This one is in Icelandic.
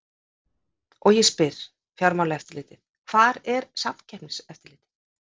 Og ég spyr hvar er Fjármálaeftirlitið, hvar er Samkeppniseftirlitið?